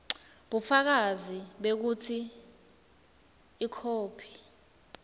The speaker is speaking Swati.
bufakazi bekutsi ikhophi